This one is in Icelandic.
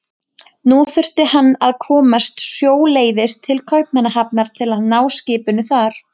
Nú þyrfti hann að komast sjóleiðis til Kaupmannahafnar til að ná skipinu þar.